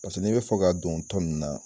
Paseke n'i be fɛ ka don tɔn nin na